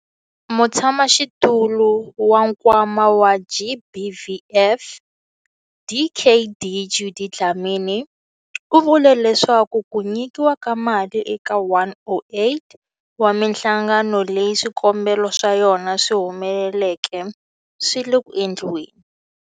Mutshamaxitulu wa Nkwama wa GBVF, Dkd Judy Dlamini, u vule leswaku ku nyikiwa ka mali eka 108 wa mihlangano leyi swikombelo swa yona swi humeleleke swi le ku endliweni.